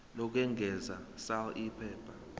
lokwengeza sal iphepha